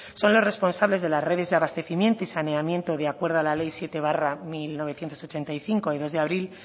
son los responsables de las redes de abastecimiento y saneamiento de acuerdo a la ley siete barra mil novecientos ochenta y cinco de dos abril